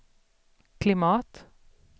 klimat